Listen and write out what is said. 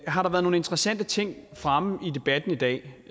har der været nogle interessante ting fremme i debatten i dag